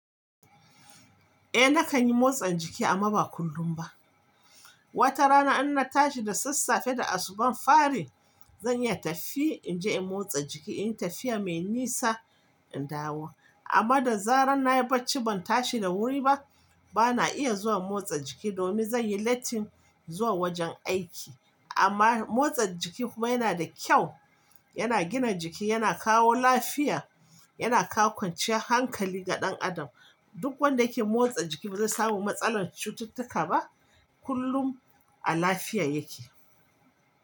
Eh nakan yi motsa jiki amma ba kullum ba. Wata rana in na tashi da sassafe da asubar fari, zan iya tafiya in je in motsa jiki, in yi tafiya mai nisa in dawo. Amma da zarar na yi bacci ban tashi da wuri ba, bana iya zuwa motsa jiki domin zan yi lattin zuwa wajen aiki. Amma motsa jiki kuma yana da kyau, yana gina jiki, yana kawo lafiya, yana kawo kwance hankali ga ɗan adam. Duk wanda yake motsa jiki ba zai samu matsalar cututtuka ba, kullum a lafiya yake.